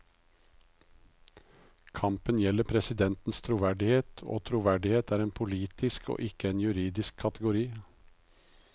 Kampen gjelder presidentens troverdighet, og troverdighet er en politisk og ikke en juridisk kategori.